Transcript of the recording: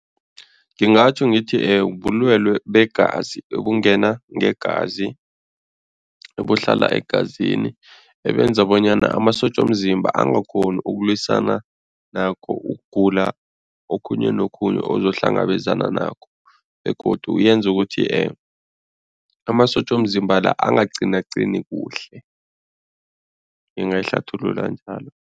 Ngingatjho ngithi bulwelwe begazi ebungena ngegazi ebuhlala egazini ebenza bonyana amasotja womzimba angakghoni ukulwisana nakho ukugula okhunye nokhunye ozohlangabezana nakho begodu yenza ukuthi amasotja womzimba la angaqinaqini kuhle, ngingayihlathulula njalo.